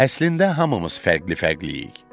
Əslində hamımız fərqli-fərqliyik.